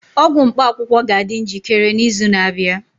ọgwụ mkpaakwụkwọ ga-adị njikere n'izu na-abịa